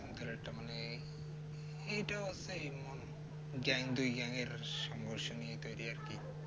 এটা মানে এই gang দুই gang এর সংঘর্ষ নিয়ে তৈরি একটি